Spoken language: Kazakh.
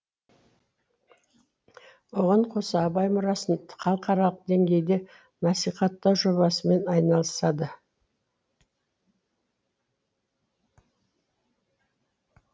оған қоса абай мұрасын халықаралық деңгейде насихаттау жобасымен айналысады